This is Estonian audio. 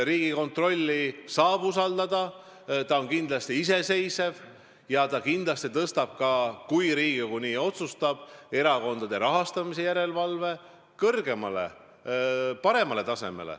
Riigikontrolli saab usaldada, ta on kindlasti iseseisev ja kui Riigikogu nii otsustab, siis ta tõstab erakondade rahastamise järelevalve kõrgemale, paremale tasemele.